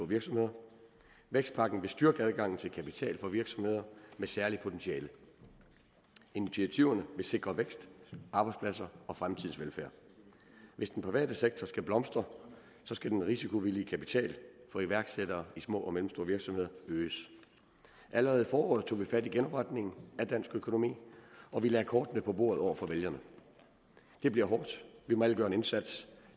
virksomheder vækstpakken vil styrke adgangen til kapital for virksomheder med særligt potentiale initiativerne vil sikre vækst arbejdspladser og fremtidens velfærd hvis den private sektor skal blomstre skal den risikovillige kapital for iværksættere i små og mellemstore virksomheder øges allerede i foråret tog vi fat på genopretningen af dansk økonomi og vi lagde kortene på bordet over for vælgerne det bliver hårdt vi må alle gøre en indsats